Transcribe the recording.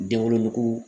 Denwoloko